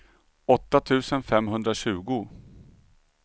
åtta tusen femhundratjugo